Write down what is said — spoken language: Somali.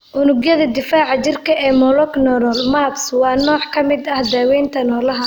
Unugyada difaaca jirka ee monoclonal (MABs) waa nooc ka mid ah daawaynta noolaha.